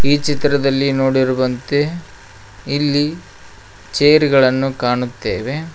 ಈ ಚಿತ್ರದಲ್ಲಿ ನೋಡಿರುವಂತೆ ಇಲ್ಲಿ ಚೇರ್ ಗಳನ್ನು ಕಾಣುತ್ತೇವೆ.